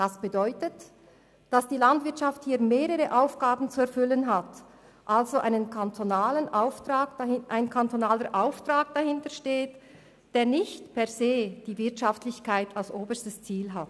Das bedeutet, dass die Landwirtschaft hier mehrere Aufgaben zu erfüllen hat, also ein kantonaler Auftrag dahintersteht, der nicht per se die Wirtschaftlichkeit als oberstes Ziel hat.